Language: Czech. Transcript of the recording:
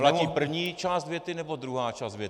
Platí první část věty nebo druhá část věty?